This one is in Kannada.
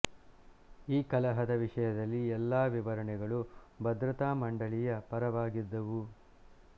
ಈ ಕಲಹದ ವಿಷಯದಲ್ಲಿ ಎಲ್ಲಾ ವಿವರಣೆಗಳು ಭದ್ರತಾ ಮಂಡಳಿಯ ಪರವಾಗಿದ್ದವು